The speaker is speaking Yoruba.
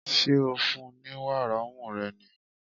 Ṣé ò ń fún-un ní wàrà ọmú rẹ ni?